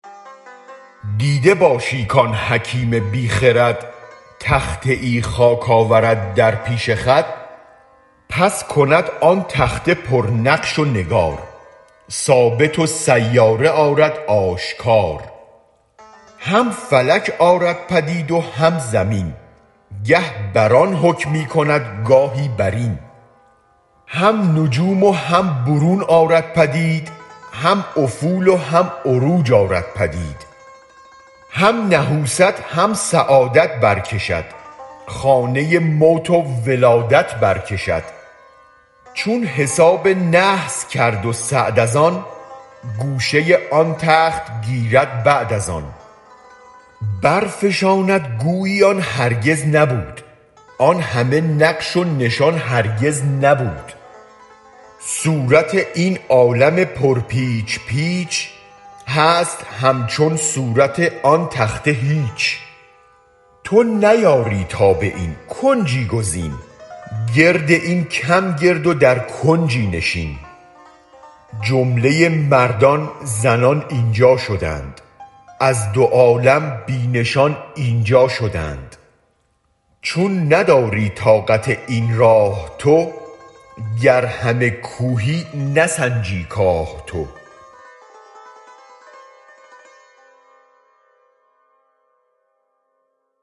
دیده باشی کان حکیم بی خرد تخته ای خاک آورد در پیش خود پس کند آن تخته پر نقش و نگار ثابت و سیاره آرد آشکار هم فلک آرد پدید و هم زمین گه بر آن حکمی کند گاهی برین هم نجوم و هم برون آرد پدید هم افول و هم عروج آرد پدید هم نحوست هم سعادت برکشد خانه موت و ولادت برکشد چون حساب نحس کرد و سعد از آن گوشه آن تخته گیرد بعد از آن برفشاند گویی آن هرگز نبود آن همه نقش و نشان هرگز نبود صورت این عالم پر پیچ پیچ هست همچون صورت آن تخته هیچ تو نیاری تاب این کنجی گزین گرد این کم گرد و در کنجی نشین جمله مردان زنان اینجا شدند از دو عالم بی نشان اینجا شدند چون نداری طاقت این راه تو گر همه کوهی نسنجی کاه تو